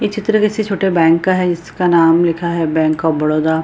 इ चित्र किसी छोटे बैंक का है इसका नाम लिखा है बैंक ऑफ़ बड़ोदा।